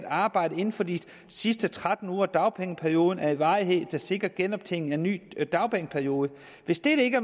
arbejde inden for de sidste tretten uger af dagpengeperioden af en varighed der sikrer genoptjening af en ny dagpengeperiode hvis dette ikke